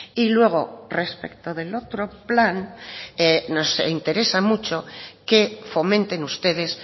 y luego respecto del otro plan nos interesa mucho que fomenten ustedes